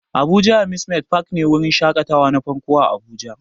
Abuja amusement park ne wurin shakatawa na farko a abuja